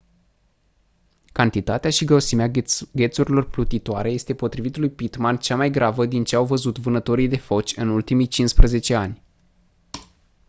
cantitatea și grosimea ghețurilor plutitoare este potrivit lui pittman cea mai gravă din ce au văzut vânătorii de foci în ultimii 15 ani